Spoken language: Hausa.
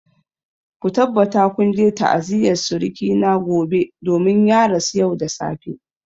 Ku tabbata kun je ta'aziyar suruki na gobe domin ya rasu yau da safe!